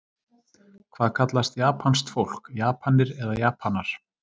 Hvað kallast japanskt fólk, Japanir eða Japanar?